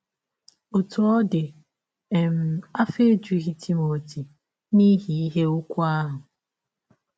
Ọtụ ọ dị um, afọ ejụghị Timọti n’ihi ihe ụgwụ ahụ.